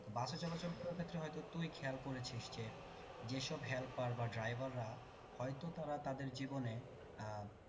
বসে চলাচল করার ক্ষেত্রে হয়তো তুই খেয়াল করেছিস যে যেসব helper বা driver রা হয়তো তারা তাদের জীবনে আহ